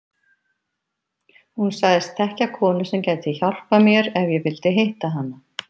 Hún sagðist þekkja konu sem gæti hjálpað mér ef ég vildi hitta hana.